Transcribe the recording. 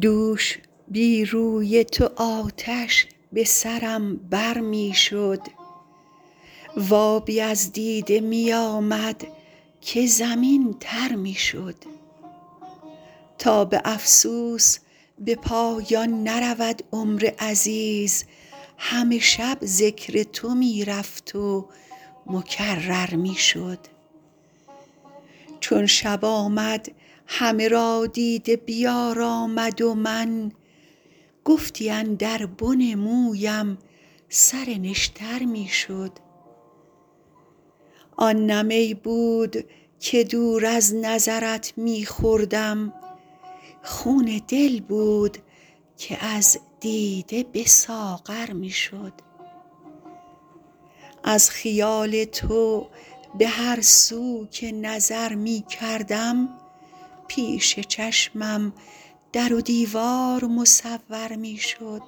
دوش بی روی تو آتش به سرم بر می شد و آبی از دیده می آمد که زمین تر می شد تا به افسوس به پایان نرود عمر عزیز همه شب ذکر تو می رفت و مکرر می شد چون شب آمد همه را دیده بیارامد و من گفتی اندر بن مویم سر نشتر می شد آن نه می بود که دور از نظرت می خوردم خون دل بود که از دیده به ساغر می شد از خیال تو به هر سو که نظر می کردم پیش چشمم در و دیوار مصور می شد